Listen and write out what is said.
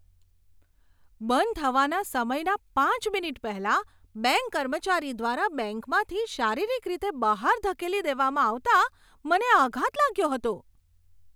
બંધ થવાના સમયના પાંચ મિનિટ પહેલાં બેંક કર્મચારી દ્વારા બેંકમાંથી શારીરિક રીતે બહાર ધકેલી દેવામાં આવતા, મને આઘાત લાગ્યો હતો.